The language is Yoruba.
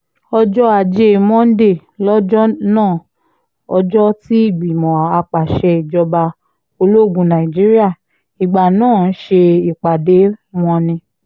ọjọ́ ajé monde lọjọ́ náà ọjọ́ tí ìgbìmọ̀ àpasẹ̀ ìjọba ológun nàìjíríà ìgbà náà ń ṣe ìpàdé wọn ni